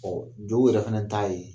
Ɔ jɔw yɛrɛ fana ta ye